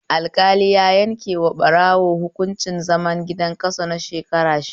Alƙali ya yankewa ɓarawo hunkuncin zaman gida kaso na wata shida